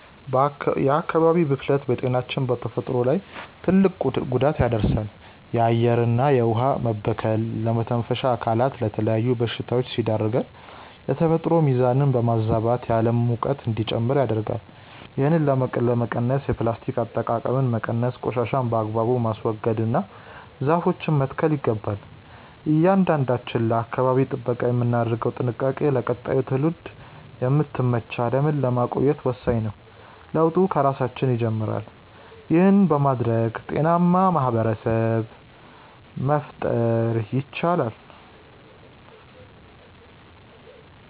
የአካባቢ ብክለት በጤናችንና በተፈጥሮ ላይ ትልቅ ጉዳት ያደርሳል። የአየርና የውኃ መበከል ለመተንፈሻ አካላትና ለተለያዩ በሽታዎች ሲዳርገን፣ የተፈጥሮን ሚዛን በማዛባትም የዓለም ሙቀት እንዲጨምር ያደርጋል። ይህንን ለመቀነስ የፕላስቲክ አጠቃቀምን መቀነስ፣ ቆሻሻን በአግባቡ ማስወገድና ዛፎችን መትከል ይገባል። እያንዳንዳችን ለአካባቢ ጥበቃ የምናደርገው ጥንቃቄ ለቀጣዩ ትውልድ የምትመች ዓለምን ለማቆየት ወሳኝ ነው። ለውጡ ከራሳችን ይጀምራል። ይህን በማድረግ ጤናማ ማኅበረሰብ መፍጠር ይቻላል።